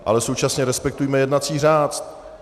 Ale současně respektujme jednací řád.